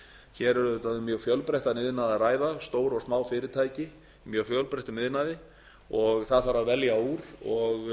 hér er auðvitað um fjölbreyttan iðnað að ræða stór og smá fyrirtæki í mjög fjölbreyttum iðnaði og það þarf að velja úr og